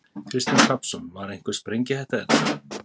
Kristinn Hrafnsson: Var einhver sprengihætta hérna?